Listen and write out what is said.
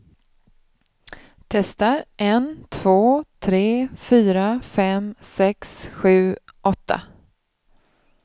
Testar en två tre fyra fem sex sju åtta.